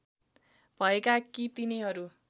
भएका कि तिनीहरू